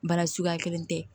Baara suguya kelen tɛ